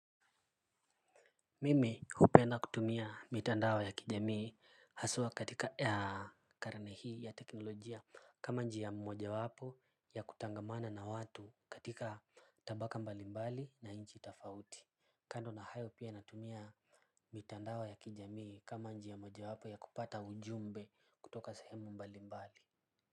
Mimi hupenda kutumia mitandao ya kijamii haswa katika ya karani hii ya teknolojia kama njia moja wapo ya kutangamana na watu katika tabaka mbalimbali na nchi tofauti kando na hayo pia natumia mitandao ya kijamii kama njia moja wapo ya kupata ujumbe kutoka sehemu mbalimbali.